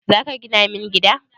Zaka gina min gida?